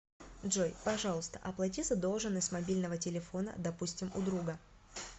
джой пожалуйста оплати задолженность мобильного телефона допустим у друга